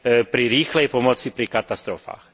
pri rýchlej pomoci pri katastrofách.